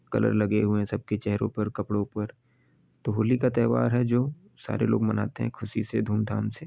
Colour लगे हुए है सब के चेहरों पर कपड़ो पर तो होली का त्यौहार है जो सारे लोग मनाते हैं ख़ुशी से धूमधाम से।